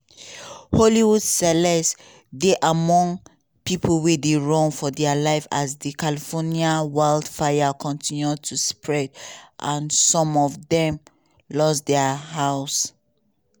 hollywood celebs dey among pipo wey dey run for dia life as di california wildfire kontinu to spread and some of dem lose dia house.